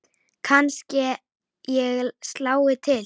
Kannske ég slái til.